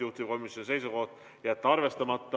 Juhtivkomisjoni seisukoht: jätta arvestamata.